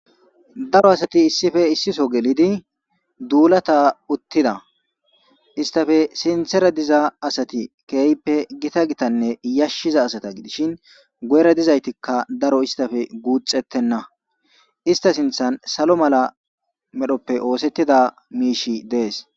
daro asati issife issiso gelidi duulata uttida istafe sinthera diza asati keeyppe gita gitanne yashshiza asata gidishin goera dizaytikka daro istafe guuxettenna ista sinthan salo mala medhoppe oosettida miishi dees